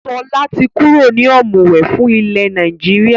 Sọlá tí kúrò ní ọ̀mùwẹ̀ fún ilẹ̀ Nàìjíríà.